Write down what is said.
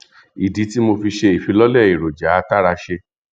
ìdí tí mo fi ṣe ìfilọlẹ èròjà àtàràṣe